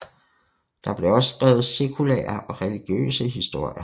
Der blev også skrevet sekulære og religiøse historier